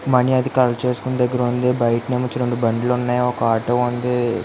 Money అది collect చేసెదగ్గరవుంది బయటనెమో బండ్లు వున్నాయ్ ఒక్క ఆటో వుంది.